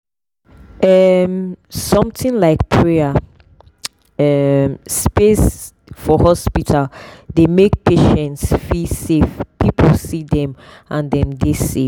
um something like prayer um space for hospital dey make patients feel say people see them and dem dey safe.